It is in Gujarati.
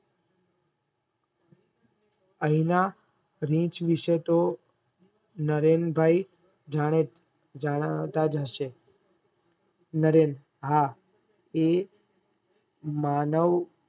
આયના રીંચ વિષય તોહ નરેનભાઈ જનાવ્તાજ હશે નરેન હા એ માનવ